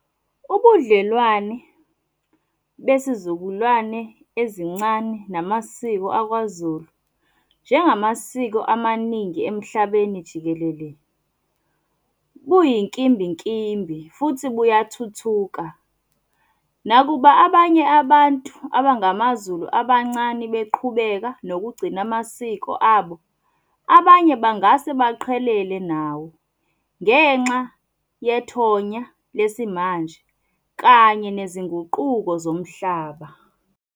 Ubudlelwane besizukulwane ezincane, namasiko akwaZulu. Njengamasiko amaningi emhlabeni jikelele, kuyinkimbinkimbi futhi buyathuthuka. Nakuba abanye abantu abangamaZulu abancane beqhubeka nokugcina amasiko abo, abanye bangase baqhelele nawo ngenxa yethonya lesimanje kanye nezinguquko zomhlaba.